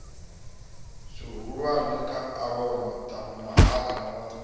zwihulwane khu avhavha mahaḓa na